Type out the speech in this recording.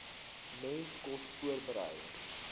mense kos voorberei